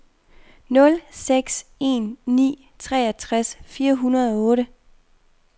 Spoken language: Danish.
nul seks en ni treogtres fire hundrede og otte